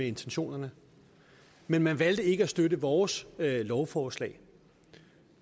intentionerne men man valgte ikke at støtte vores lovforslag